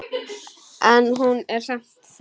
En hún er samt flott.